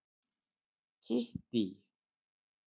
Kittý